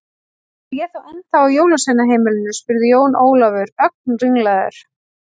Er ég þá ennþá á jólasveinaheimilinu spurði Jón Ólafur, ögn ringlaður.